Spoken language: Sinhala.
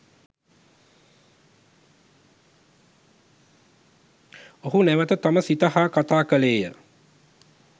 ඔහු නැවත තම සිත හා කතා කළේය